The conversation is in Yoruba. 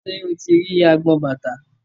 Ṣé o ti rí agbọn bàtà?